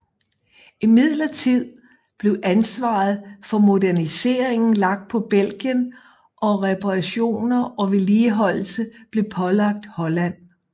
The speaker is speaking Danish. Imidlertid blev ansvaret for moderniseringen lagt på Belgien og reparationer og vedligeholdelse blev pålagt Holland